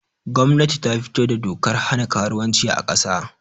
Gwamnati ta fito da dokar hana karuwanci a kasa